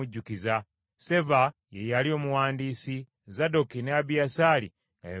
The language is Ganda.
Seva ye yali omuwandiisi, Zadooki ne Abiyasaali nga be bakabona,